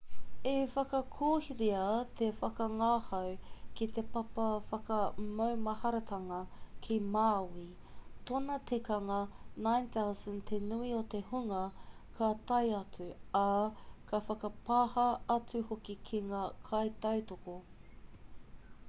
i whakakorea te whakangahau ki te papa whakamaumaharatanga ki maui tōna tikanga 9,000 te nui o te hunga ka tae atu ā ka whakapāha atu hoki ki ngā kaitautoko